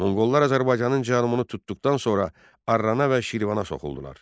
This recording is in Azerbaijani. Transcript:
Monqollar Azərbaycanın cənubunu tutduqdan sonra Arrana və Şirvana soxuldular.